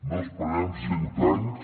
no esperem cent anys